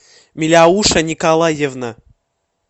миляуша николаевна